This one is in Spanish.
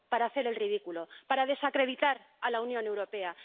Para hacer el ridículo, para desacreditar a la Unión Europea.